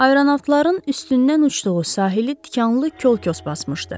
Aeronavtların üstündən uçduğu sahili tikanlı kolkos basmışdı.